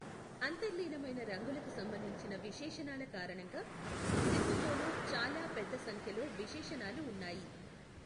అంతర్లీనమైన రంగులకు సంబంధించిన విశేషణాల కారణంగా, సెసోథోలో చాలా పెద్ద సంఖ్యలో విశేషణాలు ఉన్నాయి.